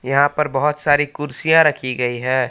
यहां पर बहोत सारी कुर्सियां रखी गई है।